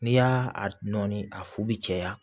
N'i y'a a nɔɔni a fu bɛ caya